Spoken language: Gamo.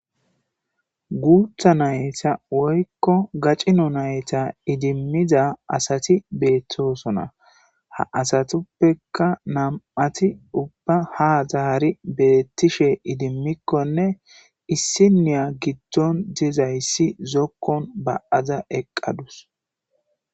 guutha nayta woykko gacino nayta idimmiza asati beettosona ha asatuppeka nam7ati ubba ha zahari bettishe idimmikkonne issiniya giddon dizayssi zokkon ba7aza eqqadus